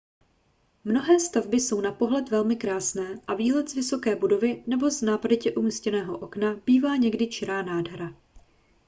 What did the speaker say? mnohé stavby jsou na pohled velmi krásné a výhled z vysoké budovy nebo z nápaditě umístěného okna bývá někdy čirá nádhera